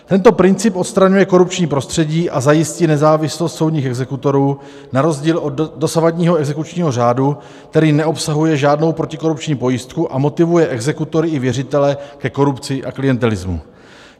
Tento princip odstraňuje korupční prostředí a zajistí nezávislost soudních exekutorů na rozdíl od dosavadního exekučního řádu, který neobsahuje žádnou protikorupční pojistku a motivuje exekutory i věřitele ke korupci a klientelismu.